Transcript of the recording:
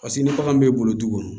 Paseke ni bagan m'e bolo du kɔnɔ